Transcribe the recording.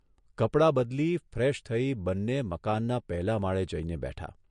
કપડાં બદલી, ફ્રેશ થઇ બંને મકાનના પહેલા માળે જઇને બેઠા.